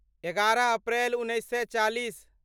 एगारह अप्रैल उन्नैस सए चालीस